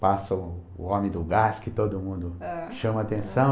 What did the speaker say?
Passa o o Homem do Gás, que todo mundo chama a atenção.